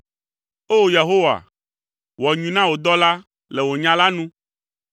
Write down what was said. O! Yehowa, wɔ nyui na wò dɔla le wò nya la nu.